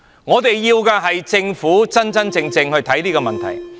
我們要的是政府真正看待這個問題。